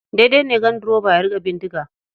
Daidai ne ganduroba ya riƙe bindiga.